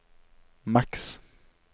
maks